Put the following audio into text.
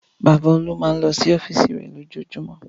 Bàbá Olú máa ń lọ sí ọ́fíísì rẹ̀ lójoojúmọ́.